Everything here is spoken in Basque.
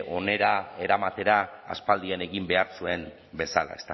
onera eramatera aspaldian egin behar zuen bezala